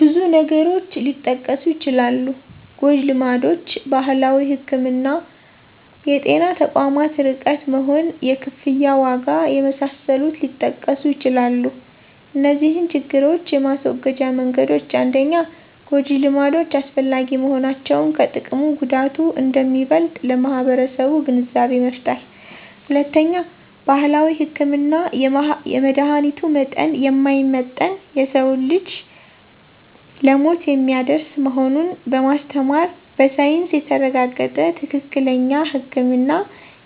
ብዙ ነገሮች ሊጠቀሱ ይችላሉ ጎጅልማዶች: ባህላዊ ህክምና: የጤና ተቋማት ርቀት መሆን: የክፍያ ዋጋ የመሳሰሉት ሊጠቀሱ ይችላሉ እነዚህን ችግሮች የማስወገጃ መንገዶች 1-ጎጂ ልማዶች አላስፈላጊ መሆናቸውን ከጥቅሙ ጉዳቱ አንደሚበልጥ ለማህበረሰቡ ግንዛቤ መፍጠር። 2-ባህላዊ ህክምና የመድሀኒቱ መጠን የማይመጠን የሰዉን ልጅ ለሞት የሚያደርስ መሆኑን በማስተማር በሳይንስ የተረጋገጠ ትክክለኛ ህክምና